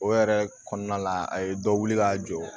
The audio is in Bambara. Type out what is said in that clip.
O yɛrɛ kɔnɔna la a ye dɔ wuli ka jɔ